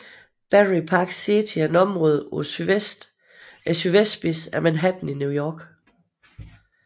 Battery Park City er et område på sydvestspidsen af Manhattan i New York